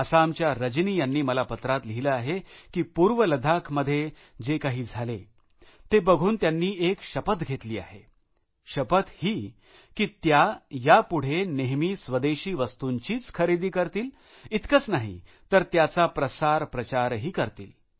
आसामच्या रजनी यांनी मला पत्रात लिहिलं आहे की पूर्व लद्दाख मध्ये जे काही झाले ते बघून त्यांनी एक शपथ घेतली आहेशपथ ही की त्या यापुढे नेहमी स्वदेशी वस्तूंचीच खरेदी करतील इतकेच नाही तर त्याचा प्रसारप्रचारही करतील